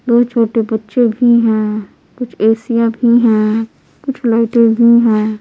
दो छोटे बच्चे भी हैं कुछ ए _सी या भी हैं कुछ लाइट ए भी है।